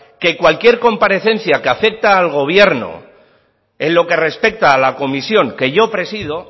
que cualquier comparecencia que afecta al gobierno en lo que respecta a la comisión que yo presido